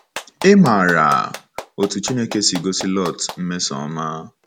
Ị̀ maara otú Chineke si gosi Lọt mmesoọma?